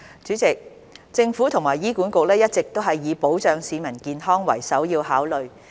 主席，政府和醫院管理局一直以保障市民健康為首要考慮。